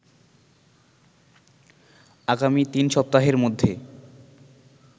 আগামী তিন সপ্তাহের মধ্যে